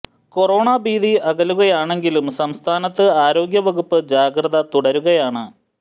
corona ഭീതി അകലുകയാണെങ്കിലും സംസ്ഥാനത്ത് ആരോഗ്യ വകുപ്പ് ജാഗ്രത തുടരുകയാണ്